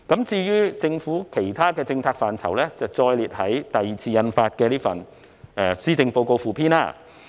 至於有關政府其他政策範疇的內容，則載列於第二次印發的施政報告附篇。